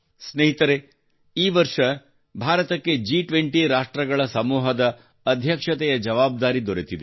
ಸ್ನೇಹಿತರೇ ಈ ವರ್ಷ ಭಾರತಕ್ಕೆ ಜಿ20 ರಾಷ್ಟ್ರಗಳ ಸಮೂಹದ ಅಧ್ಯಕ್ಷತೆಯ ಜವಾಬ್ದಾರಿ ದೊರೆತಿದೆ